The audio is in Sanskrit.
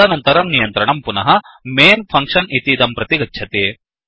तदनन्तरं नियन्त्रणं पुनः Mainमेन् फंक्षन् इतीदं प्रति गच्छति